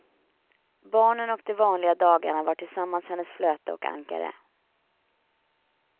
Barnen och de vanliga dagarna var tillsammans hennes flöte och ankare.